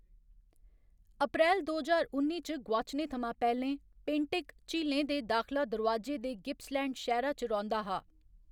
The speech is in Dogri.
अप्रैल दो ज्हार उन्नी च गुआचने थमां पैह्‌लें, पेंटिक, झीलें दे दाखला दरोआजे दे गिप्सलैंड शैह्‌रा च रौंह्‌‌‌दा हा।